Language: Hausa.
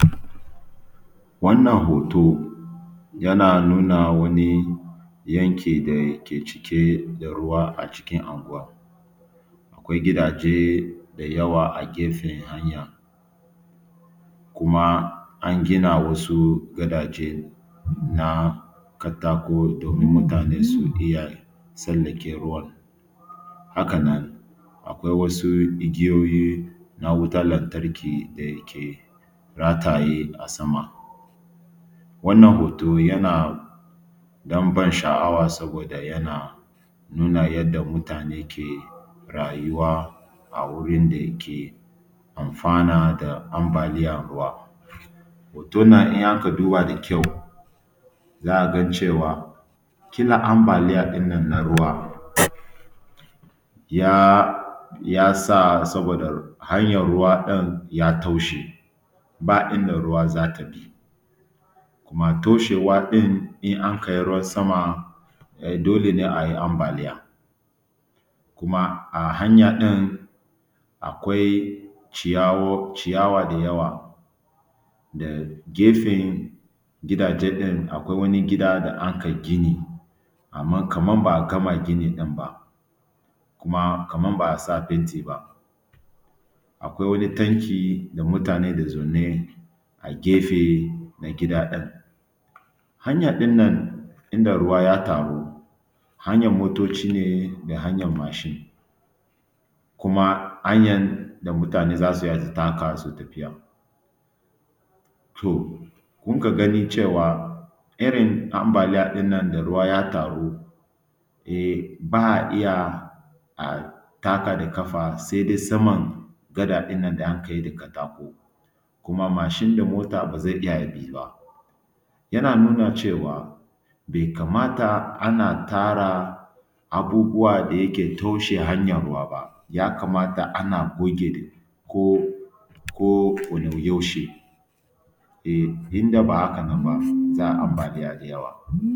Wannan hoto yana nuna wani yanki dake cike da ruwa acikin anguwa, akwai gidaje dayawa a gefe hanya kuma an gina wasu gadaje na katako domin mutane su iya tsallake ruwa. Haka nan akwai wasu igiyoyi na wutan lantarki dake rataye a sama. Wannan hoto yana ɗanban sha’awa saboda yana nuna yadda mutane ke rayuwa a wurin da yake amfana da ambaliyan ruwa. Hoton nan in aka duba da kyau za a gan cewa ƙila ambaliya ɗin nan na ruwa ya ya sa saboda hanyar ruwa ɗin ya toshe ba inda ruwa za ta bi. Kuma toshewa ɗin in anka yi ruwan sama dole ne a yi ambaliya, kuma a hanya ɗin akwai ciyaw ciyawa da yawa, da gefe gidaje ɗin akwai wani gida da anka gini amma kaman ba a gama gini ɗin ba kuma kaman ba a sa fenti ba, akwai wani tanki da mutane ke zaune a gefe na gida ɗin. hanya ɗinnan inda ruwa ya taru, hanyan motoci ne da hanyan mashin kuma hanyan da mutane za su iya su taka su yi tafiya. To munka gani cewa irin ambaliya ɗinnan da ruwa ya taru ba a iya a taka da ƙafa sai dai saman gada ɗinnan da anka yi da katako kuma mashin da mota ba zai iya ya bi ba. Yana nuna cewa bai kamata ana tara abubuwa da yake toshe hanyan ruwa ba, ya kamata a goge ko ko ko-da-yaushe, in da bah aka nan ba za a yi ambaliya da yawa.